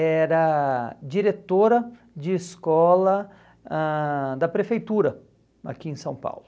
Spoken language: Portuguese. era diretora de escola ãh da prefeitura aqui em São Paulo.